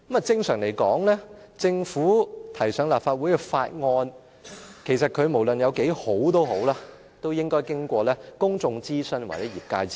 正常來說，政府提交立法會的法案/議案，無論有多好，都應該經過公眾諮詢或業界諮詢。